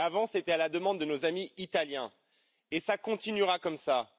avant, c'était à la demande de nos amis italiens, et cela continuera ainsi.